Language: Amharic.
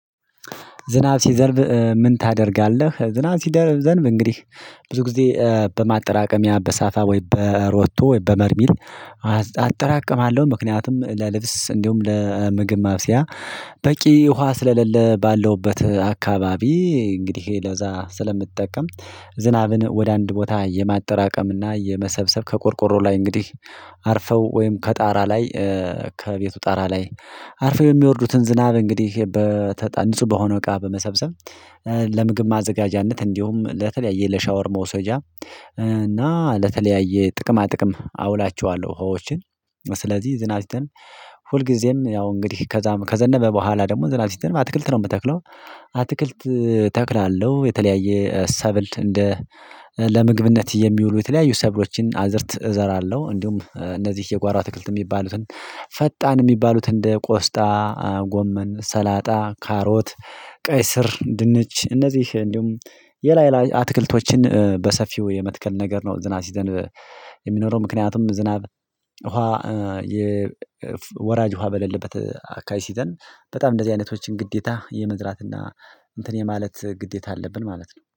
ዝናብ ሲዘርብ ምን ታደርጋለህ? ዝናብ ሲደ ዘንብ እንግዲህ ብዙ ጊዜ በማጠራቀሚያ በሳፋ ወይ በሮቶ ወይ በበርሚል። አጠራቅማለሁ ምክንያቱም ለልብስ እንዲሁም ለምግብ ማብሰያ በቂ ውሃ ስለሌለ ባለሁበት አካባቢ እንግዲህ ይሄ ለዛ ስለምጠቀም። ዝናብን ወደ አንድ ቦታ የማጠራቀም እና የመሰብሰብ ከቆርቆሮ ላይ እንግዲህ አርፈው ወይም ከጣራ ላይ ከቤቱ ጣራ ላይ አርፈው የሚወርዱትን ዝናብ እንግዲህ በተጠንጹህ በሆነ እቃ በመሰብሰብ። ለምግብ ማዘጋጃነት እንዲሁም ለተለያየ ለሻወር መውሰጃ እና ለተለያየ ጥቅማ ጥቅም አውላቸዋለሁ ውሃዎችን። ስለዚህ ዝናብ ሲጥል ሁልጊዜም ያው እንግዲህ ከዘነበ በኋላ ደግሞ ዘናብ ሲጥል አትክልት ነው የምትተክለው? አትክልት ተክላለሁ የተለያየ ሰብል እንደ ለምግብነት የሚውሉ የተለያዩ ሰብሎችን አዝርት እዘራለሁ። እንዲሁም እነዚህ የጓሮ አትክልት የሚባሉትን ፈጣን የሚባሉትን እንደ ቆስጣ ጎመን ሰላጣ ካሮት። ቀይ ስር ድንች እነዚህ እንዲሁም ሌላ ሌላ አትክልቶችን በሰፊው የመትከል ነገር ነው። ዝናብ ሲዘንብ የሚኖረው ምክንያቱም ዝናብ ውሃ የ ወራጅ ውሃ በለልበት አካባቢ ሲዘንብ በጣም እንደዚህ አይነቶችን ግዴታ የመዝራት እና እንትን የማለት ግዴታ አለብን ማለት ነው